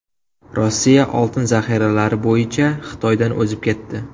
Rossiya oltin zaxiralari bo‘yicha Xitoydan o‘zib ketdi.